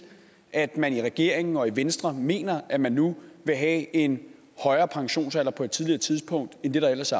at man i regeringen og i venstre mener at man nu vil have en højere pensionsalder på et tidligere tidspunkt end det der ellers